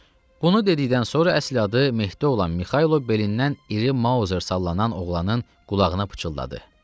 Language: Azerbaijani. Bunu dedikdən sonra əsl adı Mehdi olan Mixailo belindən iri mauzer sallanan oğlanın qulağına pıçıldadı.